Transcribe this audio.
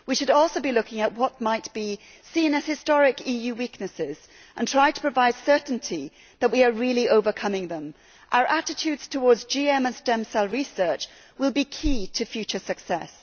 We should also be looking at what might be seen as historic EU weaknesses and try to provide certainty that we are really overcoming them. Our attitudes towards GM and stem cell research will be key to future success.